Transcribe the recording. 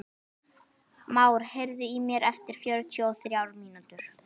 Már, heyrðu í mér eftir fjörutíu og þrjár mínútur.